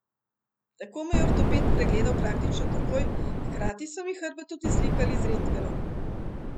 Tako me je ortoped pregledal praktično takoj, hkrati so mi hrbet tudi slikali z rentgenom.